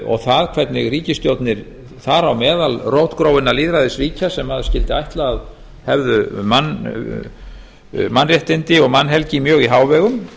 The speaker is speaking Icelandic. og það hvernig ríkisstjórnir þar á meðal rótgróinna lýðræðisríkja sem maður skyldi ætla að hefðu mannréttindi og mannhelgi mjög í hávegum